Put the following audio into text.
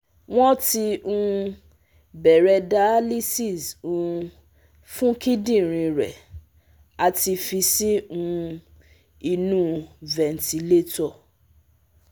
Won ti um bere dialysis um fun kidinrin re ati fi si um inu ventilator